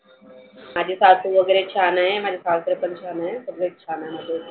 माझे सासू वगैरे छान आहे. माझे सासरे पण छान आहे. सगळेच छान आहे.